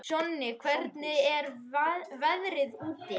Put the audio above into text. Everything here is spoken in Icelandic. Jonni, hvernig er veðrið úti?